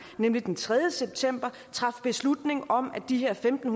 nemlig den tredje september traf beslutning om at de her femten